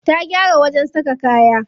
Ta gyara wajen saka kaya.